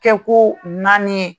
Kɛ ko naani ye.